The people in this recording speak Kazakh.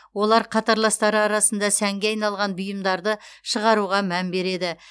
олар қатарластары арасында сәнге айналған бұйымдарды шығаруға мән береді